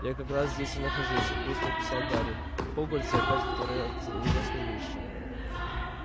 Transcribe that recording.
я как раз здесь и нахожусь быстро писал гарри в хогвартсе опять творятся ужасные вещи